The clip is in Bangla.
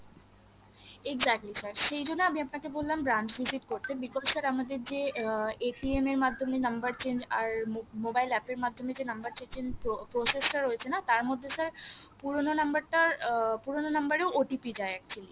exactly sir সেই জন্যে আমি আপনাকে বললাম branch visit করতে because sir আমাদের যে উম এর মাধ্যমে number change আর mobile app আর মাধ্যমে যে number change process টা রয়েছে না তার মধ্যে sir পুরনো number টার উম পুরনো number এও OTP যায় actually